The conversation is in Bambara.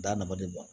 Da nafa de b'a